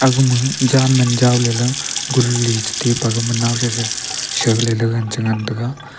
gama jan man jawley la guli chetai pe gaman naosa sa chale lan chingan taiga.